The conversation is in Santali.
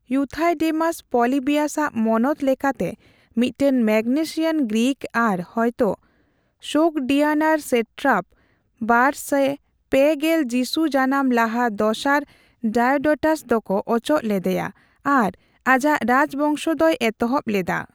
ᱤᱭᱩᱛᱷᱟᱭᱰᱮᱢᱟᱥ, ᱯᱚᱞᱤᱵᱤᱭᱟᱥ ᱟᱜ ᱢᱚᱱᱚᱛ ᱞᱮᱠᱟᱛᱮ ᱢᱤᱫᱴᱟᱝ ᱢᱮᱜᱽᱱᱮᱥᱤᱭᱟᱱ ᱜᱨᱤᱠ ᱟᱨ ᱦᱚᱭᱛᱚ ᱥᱳᱜᱽᱰᱤᱭᱟᱱᱟᱨ ᱥᱮᱴᱨᱟᱯ, ᱵᱟᱨᱥᱮᱭ ᱯᱮ ᱜᱮᱞ ᱡᱤᱥᱩ ᱡᱟᱱᱟᱢ ᱞᱟᱦᱟ ᱫᱚᱥᱟᱨ ᱰᱟᱭᱳᱰᱚᱴᱟᱥ ᱫᱚᱠᱚ ᱚᱪᱚᱜ ᱞᱮᱫᱮᱭᱟ ᱟᱨ ᱟᱡᱟᱜ ᱨᱟᱡᱽ ᱵᱚᱝᱥᱚ ᱫᱚᱭ ᱮᱛᱚᱦᱚᱵ ᱞᱮᱫᱟ ᱾